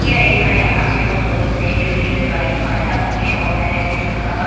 यह एक Haryana store wholesale retail rice आटा की शॉप है जिसका--